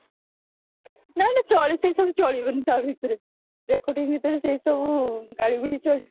ନାଁ ନାଁ ଚଳେ ସେଇ ସବୁ ଚାଲିବନି ତା ଭିତରେ recording ଭିତରେ ସେଇ ସବୁ ଗାଳି ଗୁଳି ଚଳି